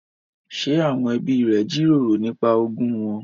Ṣé àwọn ẹbí rẹ jíròrò nípa ogún wọn?